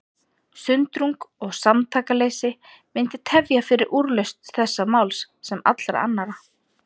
Sundrung og samtakaleysi myndi tefja fyrir úrlausn þessa máls, sem allra annara.